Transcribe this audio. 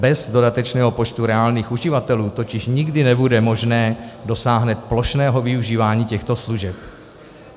Bez dodatečného počtu reálných uživatelů totiž nikdy nebude možné dosáhnout plošného využívání těchto služeb.